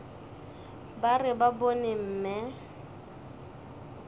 ba re ba bone mme